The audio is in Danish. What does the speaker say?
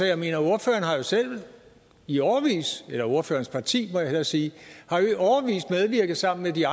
jeg mener ordføreren har jo selv i årevis eller ordførerens parti må jeg hellere sige medvirket sammen med de